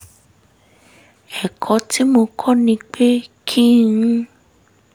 ẹ̀kọ́ tí mo kọ́ ni pé kí n